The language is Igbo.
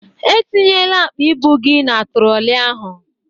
Etinyela akpa ibụ gị na trollị ahụ!